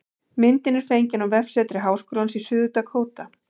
Myndin er fengin á vefsetri Háskólans í Suður-Dakóta